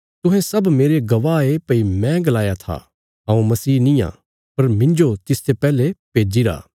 तुहें सब मेरे गवाह ये भई मैं गलाया था हऊँ मसीह निआं पर मिन्जो तिसते पैहले भेजीरा